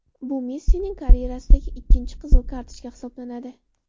Bu Messining karyerasidagi ikkinchi qizil kartochka hisoblanadi .